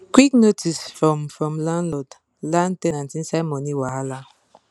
quit notice from from landlord land ten ant inside money wahala